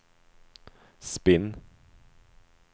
spinn